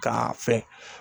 K'a fɛn